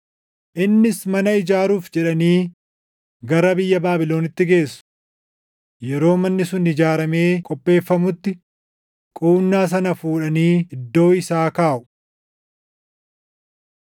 Innis, “Mana ijaaruuf jedhanii gara biyya Baabilonitti geessu. Yeroo manni sun ijaaramee qopheeffamutti quunnaa sana fuudhanii iddoo isaa kaaʼu.”